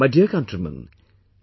My dear countrymen,